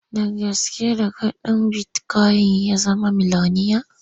Da gaske da kuɗin bitikoyin ya zama miloniya.